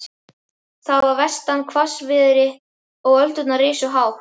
Það var vestan hvassviðri og öldurnar risu hátt.